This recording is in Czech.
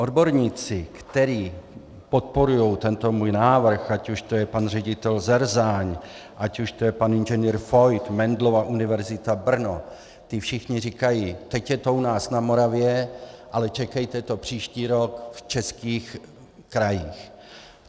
Odborníci, kteří podporují tento můj návrh, ať už to je pan ředitel Zerzáň, ať už to je pan Ing. Fojt, Mendelova univerzita Brno, ti všichni říkají: teď je to u nás na Moravě, ale čekejte to příští rok v českých krajích.